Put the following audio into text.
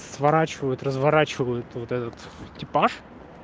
сворачивают разворачивают вот этот типаж